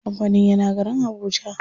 Kampanin yana garin habuja.